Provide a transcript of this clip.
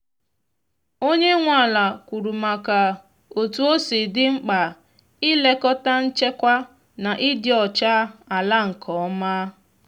onye nwe ala kwuru maka otú osi di mkpa ị lekọta nchekwa na ịdị ọcha ala nke ọma.